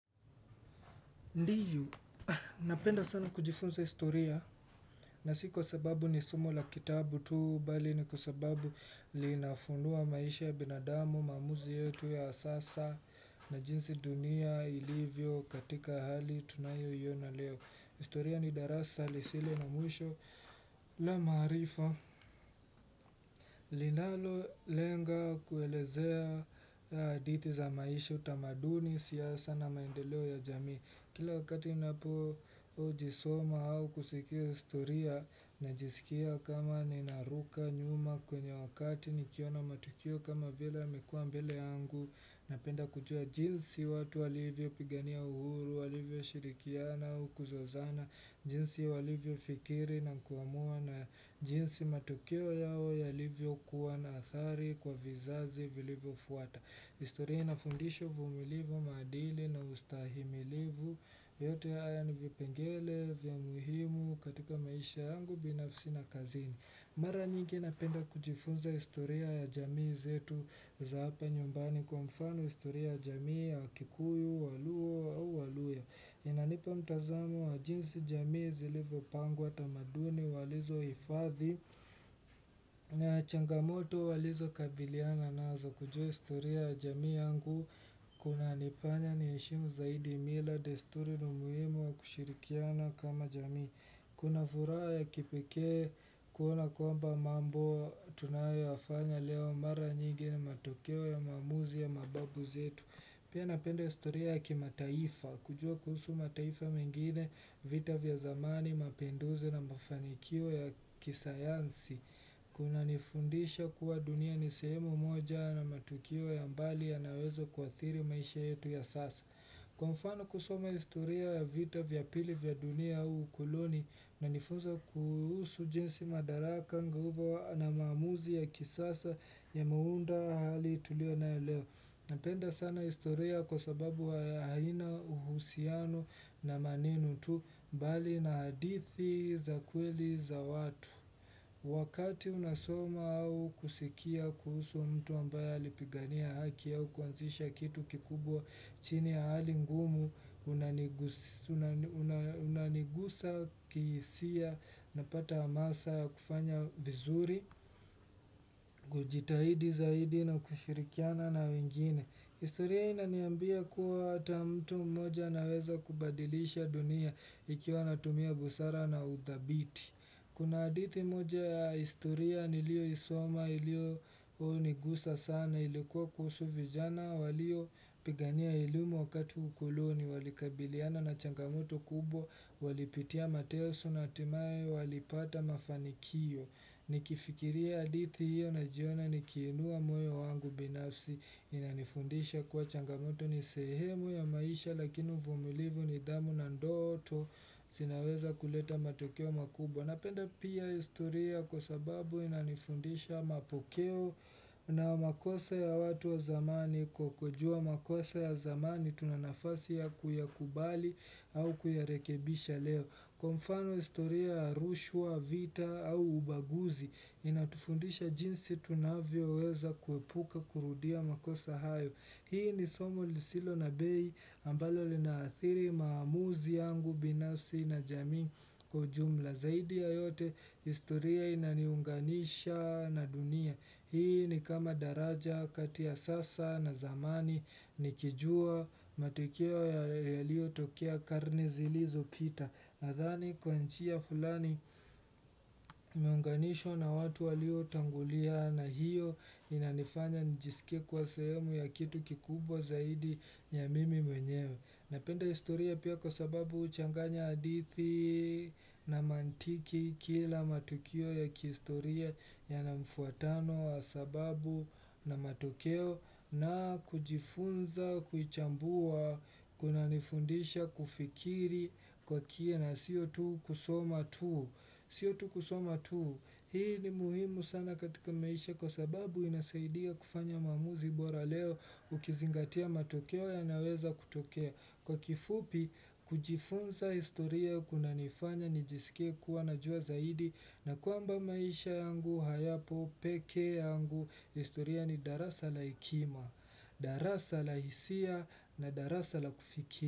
Ndiyo, napenda sana kujifunza historia, na si kwa sababu ni somo la kitabu tu, bali ni kwa sababu linafunua maisha ya binadamu, maamuzi yetu ya asasa, na jinsi dunia, ilivyo, katika hali, tunayoina leo. Historia ni darasa, lisilo na mwisho, la maarifa. Linalolenga kuelezea hadithi za maisha utamaduni siasa na maendeleo ya jamii Kila wakati unapo ojisoma au kusikia historia najisikia kama ninaruka nyuma kwenye wakati nikiona matukio kama vile yamekua mbele yangu Napenda kujua jinsi watu walivyopigania uhuru, walivyoshirikiana, au kuzozana, jinsi walivyofikiri na kuamua na jinsi matukio yao yalivyokuwa na athari kwa vizazi vilivyofuata. Historia inafundisha uvumilivu maadili na ustahimilivu, vyote haya ni vipengele vya muhimu katika maisha yangu binafsi na kazini. Mara nyingi napenda kujifunza historia ya jamii zetu za hapa nyumbani kwa mfano historia ya jamii ya wakikuyu, waluo au waluya Inanipa mtazamo wa jinsi jamii zilivyopangwa tamaduni walizohifadhi na changamoto walizokabiliana nazo kujua historia ya jamii yangu Kuna nipanya ni heshimu zaidi mila desturi na umuhimu wa kushirikiana kama jamii Kuna furaha ya kipekee kuona kwamba mambo tunayoyafanya leo mara nyingi ni matokeo ya maamuzi ya mababu zetu Pia napenda historia ya kimataifa kujua kuhusu mataifa mengine vita vya zamani mapenduzi na mafanikio ya kisayansi kunanifundisha kuwa dunia ni sehemu moja na matukio ya mbali yanaweza kuathiri maisha yetu ya sasa Kwa mfano kusoma historia ya vita vya pili vya dunia au ukuloni unanifunza kuhusu jinsi madaraka nguvwa na maamuzi ya kisasa yameunda hali tulionayo leo. Napenda sana historia kwa sababu haina uhusiano na maneno tu bali na hadithi za kweli za watu. Wakati unasoma au kusikia kuhusu mtu ambaye alipigania haki au kuanzisha kitu kikubwa chini ya hali ngumu, unanigusa kihisia napata hamasa ya kufanya vizuri, kujitahidi zaidi na kushirikiana na wengine. Historia inaniambia kuwa hata mtu moja anaweza kubadilisha dunia ikiwa anatumia busara na udhabiti. Kuna hadithi moja ya historia nilioisoma, ilio unigusa sana, ilikuwa kuhusu vijana, waliopigania elimu wakati wa ukuloni, walikabiliana na changamoto kubwa, walipitia mateso na hatimaye, walipata mafanikio. Nikifikiria hadithi hiyo najiona nikiinua moyo wangu binafsi inanifundisha kuwa changamoto ni sehemu ya maisha lakini uvumilivu nidhamu na ndoto zinaweza kuleta matokeo makubwa Napenda pia historia kwa sababu inanifundisha mapokeo na makosa ya watu wa zamani kwa kujua makosa ya zamani tunanafasi ya kuyakubali au kuyarekebisha leo Kwa mfano historia ya rushwa vita au ubaguzi inatufundisha jinsi tunavyoweza kuepuka kurudia makosa hayo Hii ni somo lisilo na bei ambalo linaathiri maamuzi yangu binafsi na jamii kwa ujumla Zaidi ya yote historia inaniunganisha na dunia Hii ni kama daraja kati ya sasa na zamani nikijua matokeo yaliyotokea karne zilizopita Nadhani kwa njia fulani nimeunganishwa na watu waliotangulia na hiyo inanifanya njisikie kuwa sehemu ya kitu kikubwa zaidi ya mimi mwenyeo. Napenda historia pia kwa sababu huchanganya hadithi na mantiki kila matukio ya kihistoria yanamfuatano wa sababu na matokeo na kujifunza, kuichambua, kunanifundisha, kufikiri kwa kina sio tu kusoma tu. Sio tu kusoma tu. Hii ni muhimu sana katika maisha kwa sababu inasaidia kufanya maamuzi bora leo ukizingatia matokeo yanaweza kutokea. Kwa kifupi kujifunza historia kunanifanya nijisikie kuwa najua zaidi na kwamba maisha yangu hayapo pekee yangu historia ni darasa la hekima. Darasa la hisia na darasa la kufikia.